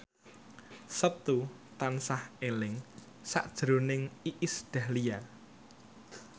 Setu tansah eling sakjroning Iis Dahlia